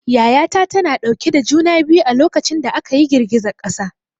Yaya ta tana dauke da juna biyu a lokacin da aka yi girgizar ƙasa.